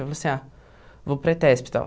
Eu falei assim, ah, vou para ETESP e tal.